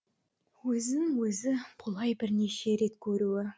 өзін өзі бұлай бірінше рет көруі